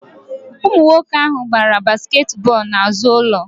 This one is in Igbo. Ụmụ nwoke ahụ gbara basket bọlụ na azụ ụlọ